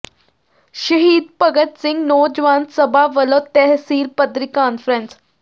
ਸ਼ਹੀਦ ਭਗਤ ਸਿੰਘ ਨੌਜਵਾਨ ਸਭਾ ਵੱਲੋਂ ਤਹਿਸੀਲ ਪੱਧਰੀ ਕਾਨਫਰੰਸ